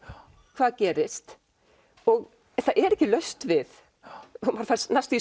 hvað gerist það er ekki laust við og maður fær næstum